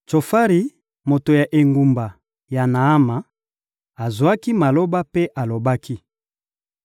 Tsofari, moto ya engumba ya Naama, azwaki maloba mpe alobaki: